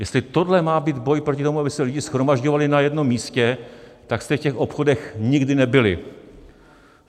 Jestli tohle má být boj proti tomu, aby se lidi shromažďovali na jednom místě, tak jste v těch obchodech nikdy nebyli.